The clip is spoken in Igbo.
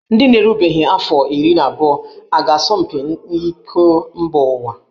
Ndị na-erubeghị afọ iri abụọ a ga-asọ mpi iko mba ụwa?